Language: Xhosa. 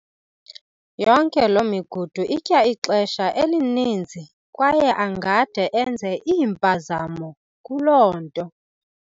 Yonke loo migudu itya ixesha elininzi kwaye angade enze iimpazamo kuloo nto.